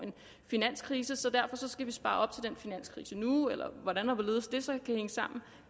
finanskrise så derfor skal vi spare op til den finanskrise nu eller hvordan og hvorledes det så kan hænge sammen